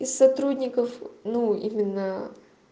из сотрудников ну именно